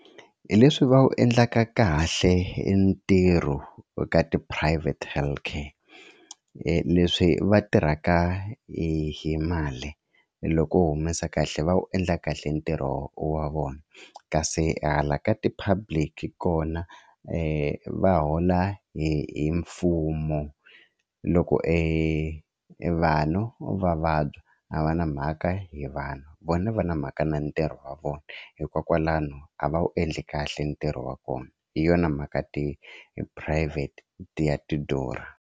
Hi leswi va wu endlaka kahle ntirho ka ti-private healthcare leswi va tirhaka hi hi mali loko u humesa kahle va wu endla kahle ntirho wa vona kasi hala ka ti-public kona va hola hi hi mfumo loko e vanhu va vabya a va na mhaka hi vanhu vona va na mhaka na ntirho wa vona hikokwalano a va wu endle kahle ntirho wa kona hi yona mhaka ti-phurayivhete ti ya ti durha.